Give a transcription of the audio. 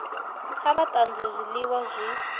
kha vha tanzwe zwiliwa zwi